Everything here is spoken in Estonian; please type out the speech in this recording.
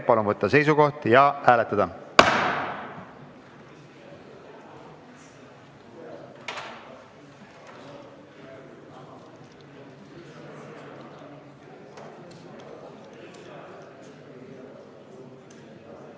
Palun võtta seisukoht ja hääletada!